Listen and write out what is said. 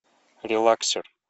релаксер